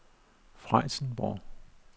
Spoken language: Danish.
Frijsenborg